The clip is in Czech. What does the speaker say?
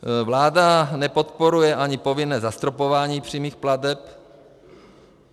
Vláda nepodporuje ani povinné zastropování přímých plateb.